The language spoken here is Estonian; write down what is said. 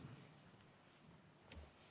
Palun!